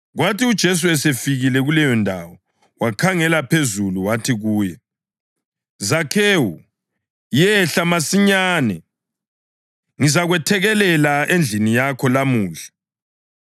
Kwathi uJesu esefikile kuleyondawo, wakhangela phezulu wathi kuye, “Zakhewu, yehla masinyane. Ngizakwethekelela endlini yakho lamuhla.”